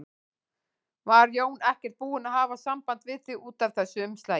Var Jón ekkert búinn að hafa samband við þig út af þessu umslagi?